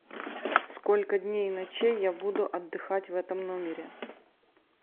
сколько дней и ночей я буду отдыхать в этом номере